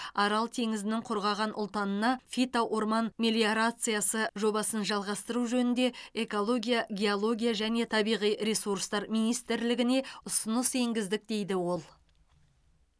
арал теңізінің құрғаған ұлтанына фито орман мелиорациясы жобасын жалғастыру жөнінде экология геология және табиғи ресурстар министрлігіне ұсыныс енгіздік дейді ол